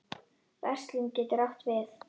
Verslun getur átt við